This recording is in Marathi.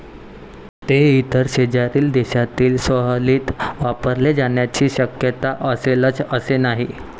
ते इतर शेजारील देशातील स्वाहिलीत वापरले जाण्याची शक्यता असेलच असे नाही.